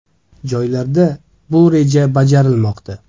Joylarda bu reja bajarilmoqda.